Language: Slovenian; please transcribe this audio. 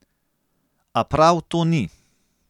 A prav to ni.